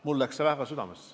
Mulle läks see väga südamesse.